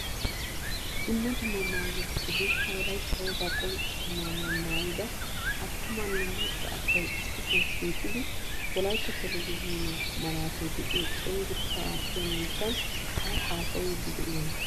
Dumma dumma maayuwaa hegekka wolaytta wogaa qonccisiya maayuwaa maayida attumanne macca asay issisan shiiqidi wolaytta televzhiniyaa malatay deiyo cenggurssa attiya miishshan ayi haasayidi de'iyona?